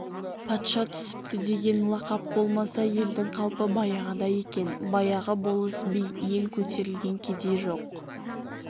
патша түсіпті деген лақап болмаса елдің қалпы баяғыдай екен баяғы болыс би ең көтерілген кедей жоқ